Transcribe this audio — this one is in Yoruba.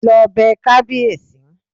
Lọ bẹ kábíèsí!